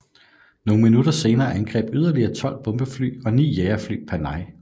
Nogle minutter senere angreb yderligere 12 bombefly og 9 jagerfly Panay